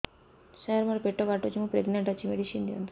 ସାର ମୋର ପେଟ କାଟୁଚି ମୁ ପ୍ରେଗନାଂଟ ଅଛି ମେଡିସିନ ଦିଅନ୍ତୁ